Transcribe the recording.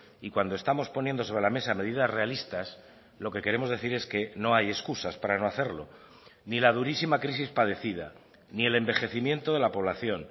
y cuando estamos poniendo sobre la mesa medidas realistas lo que queremos decir es que no hay excusas para no hacerlo ni la durísima crisis padecida ni el envejecimiento de la población